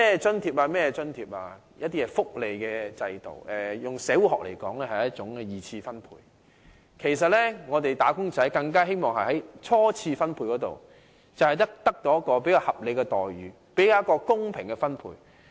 設立各項津貼及福利制度，以社會學來說，是一種二次分配，而"打工仔"其實是希望在初次分配中獲得較合理的待遇和較公平的分配。